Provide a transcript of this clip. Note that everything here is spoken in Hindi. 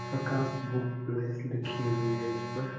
प्रकास बुक प्लेस लिखी हुई है इस पर।